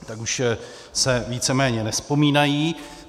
Tak už se víceméně nevzpomínají.